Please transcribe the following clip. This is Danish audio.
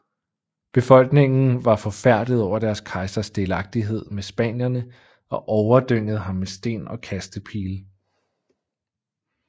Befolkningen var forfærdet over deres kejsers delagtighed med spanierne og overdyngede ham med sten og kastepile